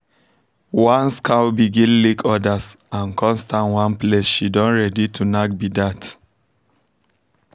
once cow begin lick others and come stand one place she don ready to knack be that.